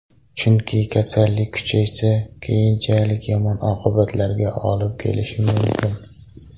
Chunki kasallik kuchaysa, keyinchalik yomon oqibatlarga olib kelishi mumkin.